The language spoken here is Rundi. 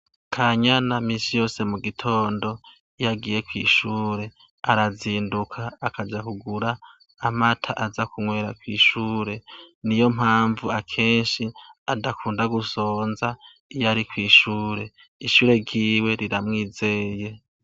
Kanyana minsi yose mu gitond' iyagiye kw' ishur' arazindu' akaja kugur' amat' aza kunywera kw' ishure, niyompamv' akensh' adakunda gusonz' iyo ari kw' ishure, ishure ryiwe riramwizeye.